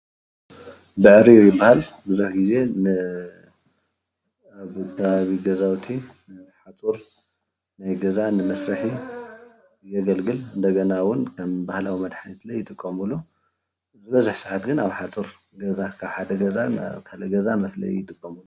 ብዕሪር ይባሃል ብዙሕ ግዜ ን ገዛውቲ ንሓፁር ናይ ገዛ መስርሒ ዘገልግል እንደገና እውን ከም ባህላዊ መድሓኒት እውን ይጥቀምሉ ዝበዝሕ ሰዓት ግን ኣብ ሓፁር ካብ ሓደ ገዛ ናብ ካልእ ገዛ መፍለይ ይጥቀምሉ፡፡